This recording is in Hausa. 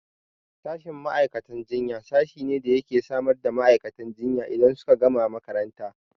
Sashin ma'aikatan jinya sashi ne da yake samar da ma'aikatan jinya idan suka gama makaranta